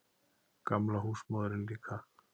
Gamla húsmóðirin líka.